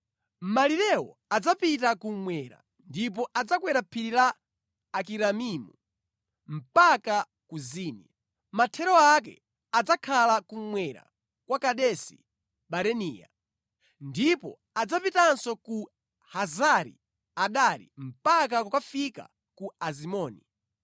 Malirewo adzapita kummwera ndipo adzakwera phiri la Akirabimu mpaka ku Zini. Mathero ake adzakhala kummwera kwa Kadesi-Baranea. Ndipo adzapitenso ku Hazari Adari mpaka kukafika ku Azimoni,